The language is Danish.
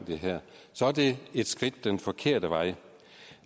det her så er det et skridt den forkerte vej